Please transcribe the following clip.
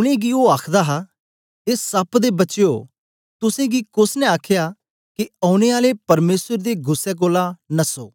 उनेंगी ओ आखदा हा ए सप दे बचयो तुसेंगी कोस ने आख्या के औने आले परमेसर दे गुस्सै कोलां नस्सो